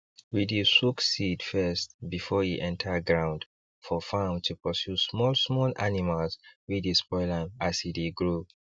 we dey soak seed first before e enter ground for farm to pursue small small animals wey dey spoil am as e dey grow